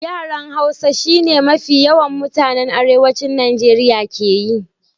Yaran Hausa shi ne mafi yawan mutanan Arewacin Najeriya ke yi.